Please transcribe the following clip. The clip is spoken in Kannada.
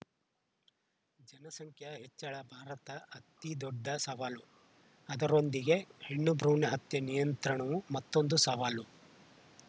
ಜನಸಂಖ್ಯಾ ಹೆಚ್ಚಳ ಭಾರತ ಅತಿದೊಡ್ಡ ಸವಾಲು ಅದರೊಂದಿಗೆ ಹೆಣ್ಣು ಭ್ರೂಣ ಹತ್ಯೆ ನಿಯಂತ್ರಣವೂ ಮತ್ತೊಂದು ಸವಾಲು